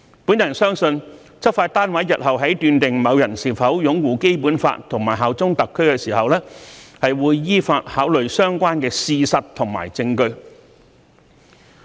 我相信執法單位日後在判斷某人是否擁護《基本法》和效忠特區時，會依法考慮相關事實和證據。